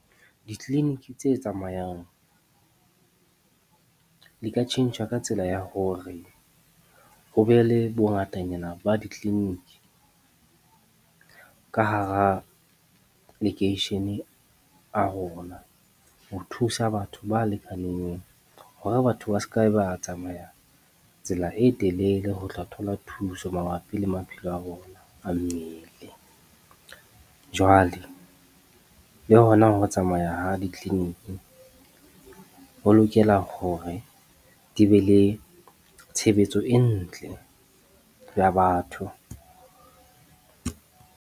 Ditleliniki tse tsamayang di ka tjhentjha ka tsela ya hore hobe le bongatanyana ba ditleliniki ka hara lekeishene a rona ho thusa batho ba lekaneng, hore batho ba se ka ba tsamaya tsela e telele ho tla thola thuso mabapi le maphelo a rona a mmele. Jwale, le hona ho tsamaya ha ditleliniki ho lokela hore di be le tshebetso e ntle ya batho.